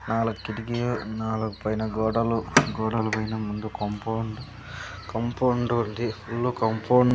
నాలుగు కిటికీలు నాలుగు పైన గోడలు గోడల పైన ముందు కాంపౌండ్ కాంపౌండ్ ఉంది ఫుల్ కాంపౌండ్ .